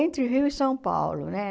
Entre Rio e São Paulo, né?